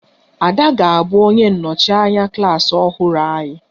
Ada ga-abụ onye nnọchi anya klas ọhụrụ anyị